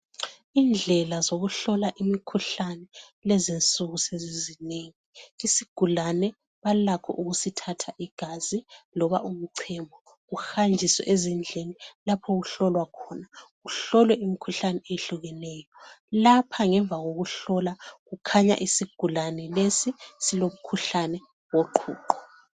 Indlela zokuhlola imikhuhlane kulezinsuku sezizinengi isigulane balakho ukusithatha igazi loba umchemo uhanjiswe ezindlini lapho okuhlolwa khona, kuhlolwe imikhuhlane ehlukeneyo lapha ngemva kokuhlola kukhanya isigulane lesi silomkhuhlane woqhuqho.